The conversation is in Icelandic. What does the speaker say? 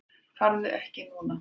Farðu ekki núna!